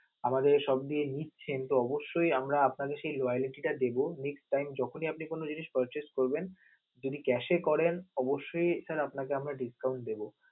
আমাদের এ shop দিয়ে নিচ্ছেন, তো অবশ্যই আমরা আপনাদের সেই loality টা দেব. যখনি আপনে কোনো জিনিস purchase করবেন. যদি cash এ করেন অবশ্যই sir আপনাকে আমরা discount দেব.